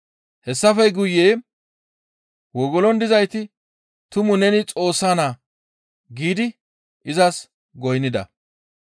Hessafe guye wogolon dizayti, «Tumu neni Xoossa Naa!» giidi izas goynnida.